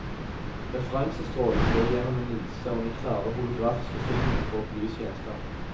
Referansestrålen går gjennom en linse og den klare holografiske filmen for å belyse gjenstanden.